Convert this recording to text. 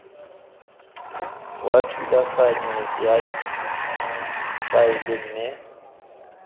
wa thulaganyo ya faele mme